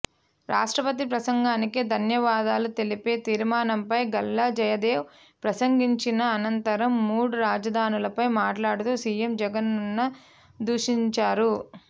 రాష్ట్రపతి ప్రసంగానికి ధన్యవాదాలు తెలిపే తీర్మానంపై గల్లా జయదేవ్ ప్రసంగించిన అనంతరం మూడు రాజధానులపై మాట్లాడుతూ సీఎం జగన్ను దూషించారు